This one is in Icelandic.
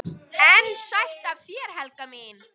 EN SÆTT AF ÞÉR, HELGA MÍN!